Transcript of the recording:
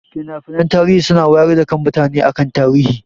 Finafinai tarihi suna wayar da kan mutane akan tarihi